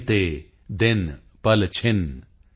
ਗਿਨਤੇ ਦਿਨ ਪਲਛਿਨ